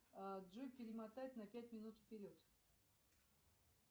джой перемотай на пять минут вперед